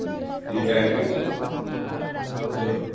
ବୁଝିଲ...